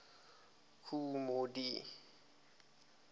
kool moe dee